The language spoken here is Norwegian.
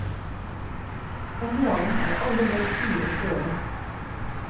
Om morgenen er alle ledd stive og støle.